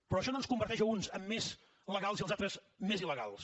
però això no ens converteix a uns en més legals i als altres en més il·legals